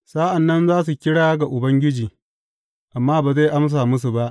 Sa’an nan za su kira ga Ubangiji, amma ba zai amsa musu ba.